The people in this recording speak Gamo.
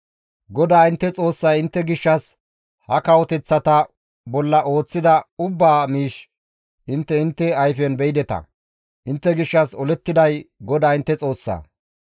GODAA intte Xoossay intte gishshas ha kawoteththata bolla ooththida ubbaa miish intte intte ayfen beyideta. Intte gishshas olettiday GODAA intte Xoossaa.